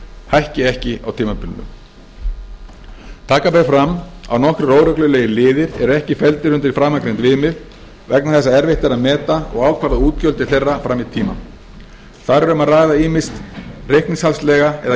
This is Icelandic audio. hækki ekki á tímabilinu taka ber fram að nokkrir óreglulegir liðir eru ekki felldir undir framangreind viðmið vegna þess að erfitt er að meta og ákvarða útgjöld til þeirra fram í tímann þar er um að ræða ýmist reikningshaldslega eða